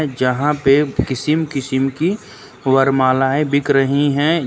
जहाँ पे किस्म किस्म की वरमालाएँ बिक रही हैं।